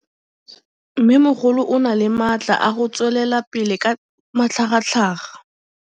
Mmêmogolo o na le matla a go tswelela pele ka matlhagatlhaga.